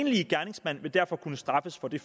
enlige gerningsmand vil derfor kunne straffes for det